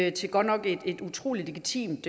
et godt nok utrolig legitimt